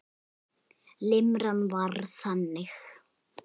Limran var þannig